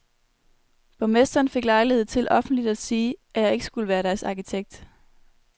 Borgmesteren fik lejlighed til offentligt at sige, at jeg ikke skulle være deres arkitekt.